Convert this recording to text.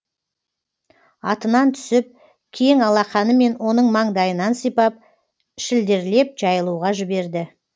атынан түсіп кең алақанымен оның маңдайынан сипап шілдерлеп жайылуға жіберді